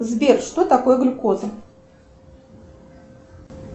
сбер что такое глюкоза